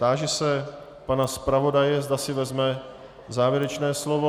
Táži se pana zpravodaje, zda si vezme závěrečné slovo.